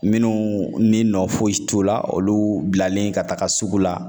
Minnu ni nɔ foyi t'u la olu bilalen ka taga sugu la